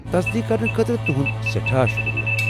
تصدیٖق کرنہٕ خٲطرٕ تُہُند سٮ۪ٹھاہ شُكریہ ۔